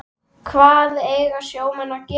Hvað eiga sjómenn að gera?